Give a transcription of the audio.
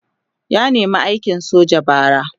ya nema aikin soja bara